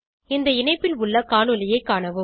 இந்த இணைப்பில் உள்ள காணொளியைக் காணவும்